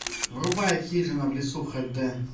врубай хижина в лесу хд